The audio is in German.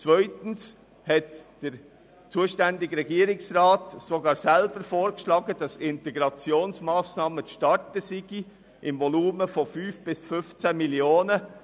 Zweitens hat der zuständige Regierungsrat sogar selber vorgeschlagen, dass Integrationsmassnahmen im Volumen von 5 bis 15 Mio. Franken zu starten seien.